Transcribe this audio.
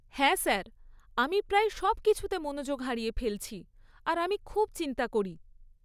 হ্যাঁ স্যার, আমি প্রায় সব কিছুতে মনোযোগ হারিয়ে ফেলছি আর আমি খুব চিন্তা করি।